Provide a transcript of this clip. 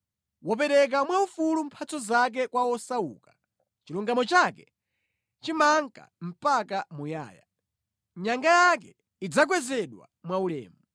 Wopereka mphatso zake mowolowamanja kwa osauka, chilungamo chake chimanka mpaka muyaya; nyanga yake idzakwezedwa mwaulemu.